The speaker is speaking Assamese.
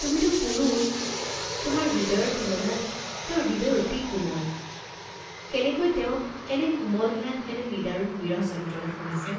তুমিতো পুৰুষ, তোমাৰ হৃদয়ৰ তুলনাত তেওঁৰ হৃদয় অতি কোমল, কেনেকৈ তেওঁ এনে কোমল হিয়াত এনে নিদাৰুণ বিৰহ য্ন্ত্ৰণা সহিছে!